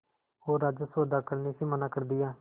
और राजस्व अदा करने से मना कर दिया